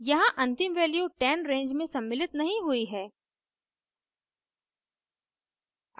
यहाँ अंतिम value 10 range में सम्मिलित नहीं हुई है